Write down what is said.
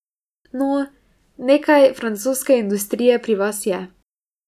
No, nekaj francoske industrije pri vas je ...